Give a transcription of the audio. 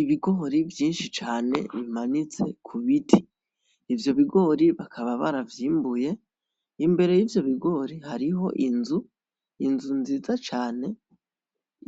Ibigori vyishi cane bimanitse ku biti ivyo bigori bakaba baravyimbuye imbere y'ivyo bigori hariho inzu, inzu nziza cane